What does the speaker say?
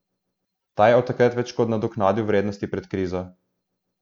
Ta je od takrat več kot nadoknadil vrednosti pred krizo.